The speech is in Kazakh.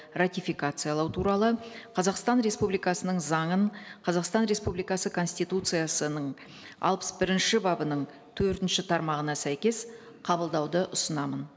ратификациялау туралы қазақстан республикасының заңын қазақстан республикасы конституциясының алпыс бірінші бабының төртінші тармағына сәйкес қабылдауды ұсынамын